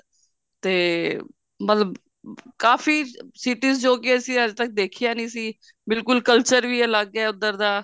ਤੇ ਮਤਲਬ ਕਾਫੀ cities ਜੋ ਕਿ ਅਸੀਂ ਅੱਜ ਤੱਕ ਦੇਖੀਆਂ ਨੀ ਸੀ ਬਿਲਕੁਲ culture ਵੀ ਅਲੱਗ ਏ ਉੱਧਰ ਦਾ